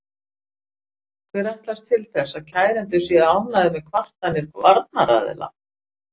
Hver ætlist til þess að kærendur séu ánægðir með kvartanir varnaraðila?